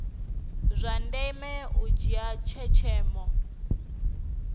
zwa ndeme u dzhia tshenzhemo